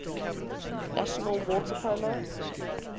national water polo